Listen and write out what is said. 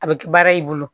A bɛ kɛ baara y'i bolo